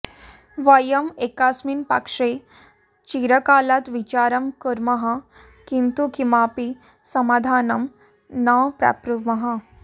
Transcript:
वयम् एकस्मिन् प्रश्ने चिरकालात् विचारं कुर्मः किन्तु किमपि समाधानं न प्राप्नुमः